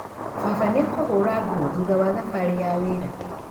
Baba nĩakũhũra nguo thutha wa thabarĩ ya wĩra?